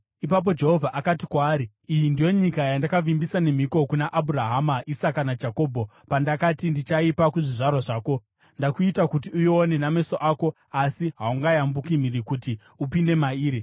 Ipapo Jehovha akati kwaari, “Iyi ndiyo nyika yandakavimbisa nemhiko kuna Abhurahama, Isaka naJakobho pandakati, ‘Ndichaipa kuzvizvarwa zvako.’ Ndakuita kuti uione nameso ako, asi haungayambuki mhiri kuti upinde mairi.”